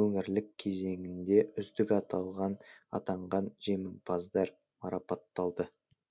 өңірлік кезеңінде үздік атанған жеңімпаздар марапатталды